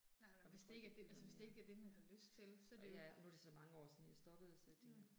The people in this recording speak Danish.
Nej og hvis det ikke er det, altså hvis det ikke lige er det man har lyst til så det. Mh